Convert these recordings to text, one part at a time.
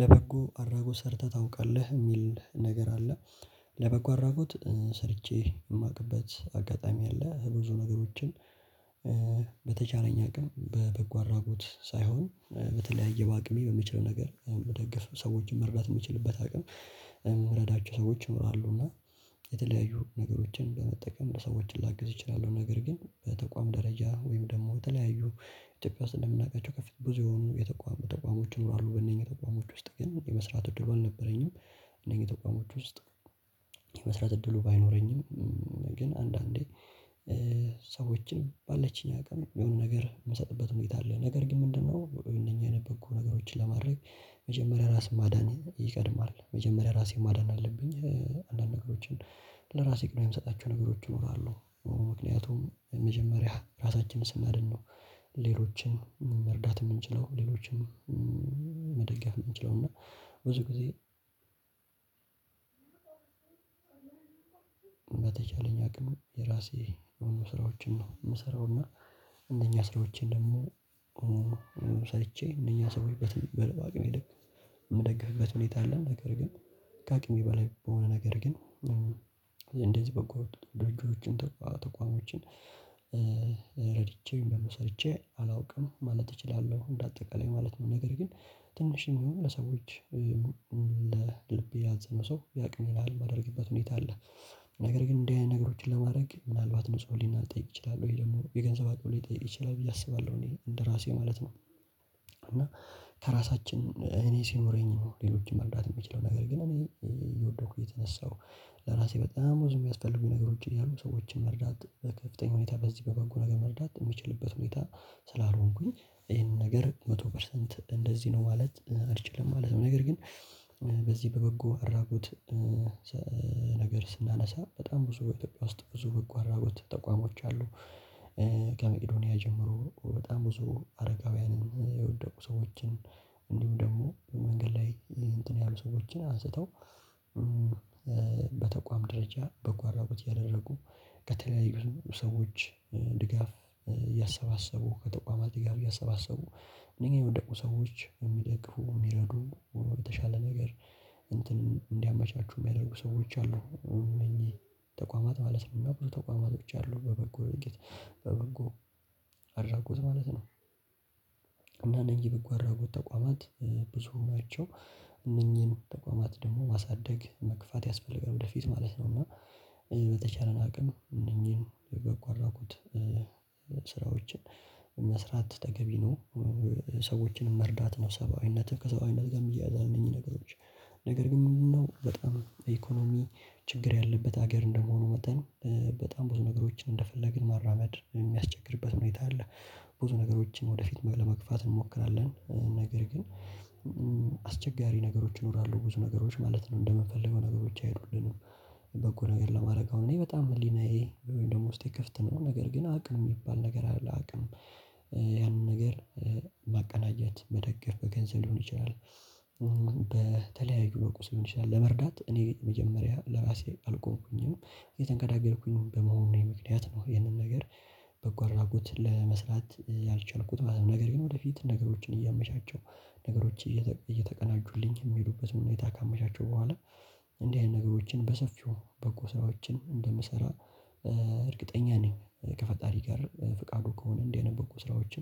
ለበጎ አድራጎት ሰርተህ ታውቃለህ? የሚል ነገር አለ። ለበጎ አድራጎት ሰርቼ የማቅበት አጋጣሚ አለ። ብዙ ነገሮችን በተቻለኝ አቅም በበጎ አድራጎት ሳይሆን በተለያየ በአቅሜ በሚችል ነገር መደገፍ ሰዎችን መርዳት የምትችልበት አቅም እምረዳቸው ሰዎች ይኖራሉ እና የተለያዩ ነገሮችን በመጠቀም ለሰዎች ላግዝ እችላለሁ። ነገር ግን በተቋም ደረጃ ወይም ደግሞ በተለያዩ ኢትዮጵያ ውስጥ እንደምናውቃቸው ከፍተኛ ብዙ የሆኑ የተቋቋሙ ተቋሞች ይኖራሉ በእነኚህ ተቋሞች ውስጥ ግን የመስራት እድሉ አልነበረኝም እነዚህ ተቋሞች ውስጥ የመስራት እድሉ ባይኖረኝም ግን አንዳንዴ ሰዎችን ባለችኝ አቅም የሆነ ነገር የምሰጥበት ሁኔታ አለ። ነገር ግን ምንድነው እነኚህን በጎ ነገሮችን ለማድረግ መጀመሪያ ራስ ማዳን ይቀድማል። መጀመሪያ ራሴን ማዳን አለብኝ አንዳንድ ነገሮችን ለራሴ ቅድሚያ የምሰጣቸው ነገሮች ይኖራሉ ምክንያቱም መጀመሪያ ራሳችንን ስናድን ነው ሌሎችን መርዳት የምንችለው። ሌሎችን መደጋገፍ የምንችለው እና ብዙ ጊዜ በተቻለኝ አቅም የራሴ የሆኑ ስራዎችን ነው የምሰራው እና እንደኛ ስራዎችን ደግሞ ሰርቼ እነኛ ሰውዬበት ባቅሜ የምደግፍበት ሁኔታ አለን ነገር ግን ከአቅሜ በላይ በሆነ ነገር ግን እንደዚህ በጎ ድርጅቶችን ተቋ ተቋሞችን ረድቼ ወይም ደግሞ ሰርቼ አላውቅም ማለት እችላለሁ እንደ አጠቃላይ ማለት ነው። ነገር ግን ትንሽም ይሁን ለሰዎች ለልቤ ያዘነ ሰው ያቅሜን ያህል ማድረግበት ሁኔታ አለ። ነገር ግን እንደዚህ አይነት ነገሮችን ለማድረግ ምናልባት ንጹህ ህሊና ሊጠይቅ ይችላል ወይ ደግሞ የገንዘብ አቅም ሊጠይቅ ይችላል ብዬ አስባለሁ እኔ እንደራሴ ማለት ነው እና ከራሳችን እኔ ሲኖረኝ ነው ሌሎችን መርዳት የምችለው ነገር ግን እኔ እየወደኩ እየተነሳሁ ለራሴ በጣም ብዙ የሚያስፈልጉኝ ነገሮች እያሉ ሰዎችን መርዳት በከፍተኛ ሁኔታ በዚህ በበጎ ነገር መርዳት የምችልበት ሁኔታ ስላልሆንኩኝ ይሄንን ነገር መቶ ፐርሰንት እንደዚህ ነው ማለት አልችልም ማለት ነው። ነገር ግን በዚህ በበጎ አድራጎት ነገር ስናነሳ በጣም ብዙ በኢትዮጵያ ውስጥ ብዙ በጎ አድራጎት ተቋሞች አሉ። ከመቄዶንያ ጀምሮ በጣም ብዙ አረጋውያንን፣ የወደቁ ሰዎችን፣ እንዲሁ ደግሞ በመንገድ ላይ እንትን ያሉ ሰዎችን አንስተው በተቋም ደረጃ በጎ አድራጎት እያደረጉ ከተለያዩ ሰዎች ድጋፍ እያሰባሰቡ ከተቋማት ድጋፍ እያሰባሰቡ እነዚህ የወደቁ ሰዎችን የሚደግፉ የሚረዱ በተሻለ ነገር እንትን እንዲያመቻቹ የሚያደርጉ ሰዎች አሉ እነኚህ ተቋማት ማለት ነው እና ብዙ ተቋማቶች አሉ በበጎ ውጤት በበጎ አድራጎት ማለት ነው። እና እነዚህ በጎ አድራጎት ተቋማት ብዙ ናቸው። እነኚህን ተቋማት ደግሞ ማሳደግ መግፋት ያስፈልጋል ወደፊት ማለት ነው እና በተቻለን አቅም እነኚህን የበጎ አድራጎት ስራዎችን መስራት ተገቢ ነው። ሰዎችንም መርዳት ነው ሰብአዊነትህ ከሰብአዊነት ጋርም ይየያዛል እነኚህ ነገሮች ነገር ግን ምንድነው በጣም ኢኮኖሚ ችግር ያለበት ሀገር እንደመሆኑ መጠን በጣም ብዙ ነገሮችን እንደፈለግን ማራመድ የሚያስቸግርበት ሁኔታ አለ። ብዙ ነገሮችን ወደፊት ለመግፋት እንሞክራለን። ነገር ግን አስቸጋሪ ነገሮች እኖራለሁ ብዙ ነገሮች ማለት ነው እንደምፈልገው ነገሮች አይሄዱልንም በጎ ነገር ለማድረግ። አሁን እኔ በጣም ህሊናዬ ወይም ደግሞ ውስጤ ክፍት ነው ነገር ግን አቅም የሚባል ነገር አለ አቅም ያንን ነገር ማቀናጀት መደገፍ በገንዘብ ሊሆን ይችላል በተለያዩ በቁስም ሊሆን ይችላል ለመርዳት እኔ መጀመሪያ ለራሴ አልቆምኩኝም እየተንገዳገድኩኝ በመሆኑ ምክንያት ነው ይህንን ነገር በጎ አድራጎት ለመስራት ያልቻልኩት ማለት ነው። ነገር ግን ወደፊት ነገሮችን እያመቻቸው ነገሮች እየተቀናጁልኝ የሚሄዱበትን ሁኔታ ካመቻቸው በኋላ እንዲህ አይነት ነገሮችን በሰፊው በጎ ስራዎችን እንደምሰራ እርግጠኛ ነኝ ከፈጣሪ ጋር ፍቃዱ ከሆነ እንዲህ አይነት በጎ ስራዎች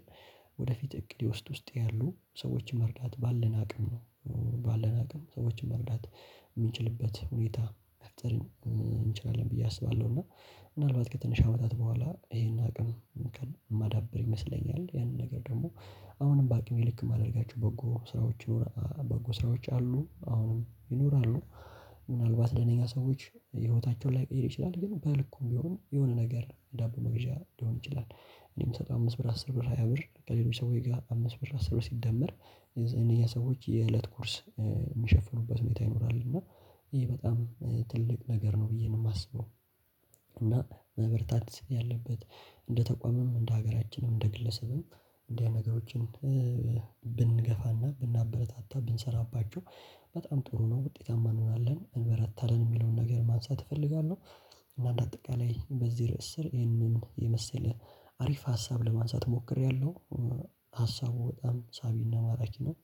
ወደፊት እቅዴ ውስጥ ውስጤ ያሉ ሰዎችን መርዳት ባለን አቅም ነው ባለን አቅም ሰዎችን መርዳት የምንችልበት ሁኔታ መፍጠር እንችላለን ብዬ አስባለሁ እና ምናልባት ከትንሽ አመታት በኋላ ይሄን አቅም ማዳበር ይመስለኛል፤ ያንን ነገር ደግሞ አሁንም በአቅሜ ልክ ማድረጋችሁ በጎ ስራዎች በጎ ስራዎች አሉ አሁንም ይኖራሉ ምናልባት ለእነኛ ሰዎች ህይወታቸውን ላይቀይር ይችላል ግን በልኩም ቢሆን የሆነ ነገር ዳቦ መግዣ ሊሆን ይችላል እኔ ምሰጠው አምስት ብር አስር ብር ሃያ ብር ከሌሎች ሰዎች ጋር አምስት ብር አስር ሲደመር የነኛ ሰዎች የእለት ጉርስ የሚሸፍኑበት ሁኔታ ይኖራል እና ይሄ በጣም ትልቅ ነገር ነው ብዬ ነው የማስበው። እና መበርታት ያለበት እንደ ተቋምም እንደ ሀገራችንም እንደ ግለሰብም እንዲህ ነገሮችን ብንገፋና ብናበረታታ ብንሰራባቸው በጣም ጥሩ ነው ውጤታማ እንሆናለን እንበረታለን የሚለውን ነገር ማንሳት እፈልጋለሁ። እና እንደ አጠቃላይ በዚህ ርዕስ ስር ይሄንን የመሰለ አሪፍ ሀሳብ ለማንሳት ሞክሬያለሁ። ሀሳቡ በጣም ሳቢና ማራኪ ነው።